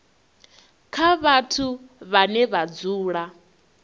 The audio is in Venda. kha vhathu vhane vha dzula